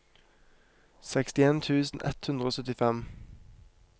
sekstien tusen ett hundre og syttifem